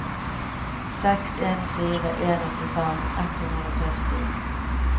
seks en fire en åttifem ett hundre og førti